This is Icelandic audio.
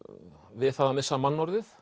við það að missa mannorðið